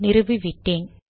நிறுவு விட்டேன்